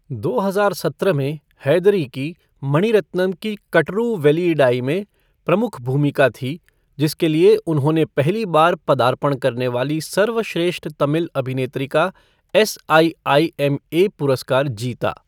दो हजार सत्रह में, हैदरी की मणिरत्नम की कटरू वेलियिडाई में प्रमुख भूमिका थी, जिसके लिए उन्होंने पहली बार पदार्पण करने वाली सर्वश्रेष्ठ तमिल अभिनेत्री का S I I M A पुरस्कार जीता।